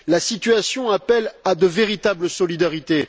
La situation appelle à de véritables solidarités.